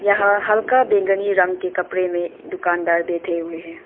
ह हल्का बैंगनी रंग के कपड़े में दुकानदार बैठे हुए हैं।